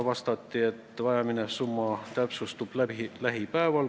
Vastati, et vajaminev summa täpsustub lähipäevil.